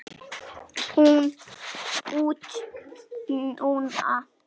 Út núna?